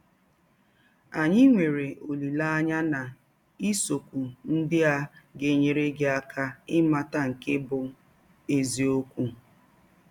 Anyị nwere ọlileanya na isiọkwụ ndị a ga - enyere gị aka ịmata nke bụ́ eziọkwụ.